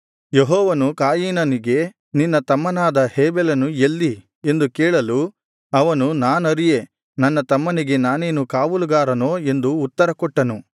ಯೆಹೋವನು ಕಾಯಿನನಿಗೆ ನಿನ್ನ ತಮ್ಮನಾದ ಹೇಬೆಲನು ಎಲ್ಲಿ ಎಂದು ಕೇಳಲು ಅವನು ನಾನರಿಯೆ ನನ್ನ ತಮ್ಮನಿಗೆ ನಾನೇನು ಕಾವಲುಗಾರನೋ ಎಂದು ಉತ್ತರ ಕೊಟ್ಟನು